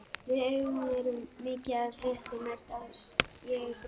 Við augun er mikið af hrukkum, mest ef ég brosi.